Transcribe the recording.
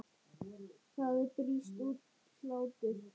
Það brýst út hlátur.